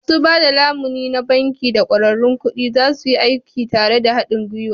Masu ba da lamuni na banki da ƙwararrun kuɗi za su yi aiki tare da haɗin gwiwa.